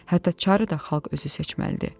Hətta çarı da xalq özü seçməlidir.